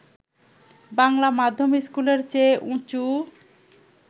বাংলা মাধ্যম স্কুলের চেয়ে উঁচু